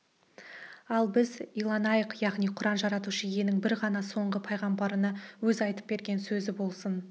ал біз иланайық яғни құран жаратушы иенің бір ғана соңғы пайғамбарына өзі айтып берген сөзі болсын